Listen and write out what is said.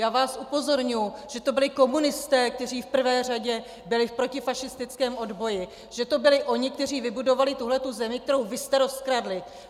Já vás upozorňuji, že to byli komunisté, kteří v prvé řadě byli v protifašistickém odboji, že to byli oni, kteří vybudovali tuto zemi, kterou vy jste rozkradli.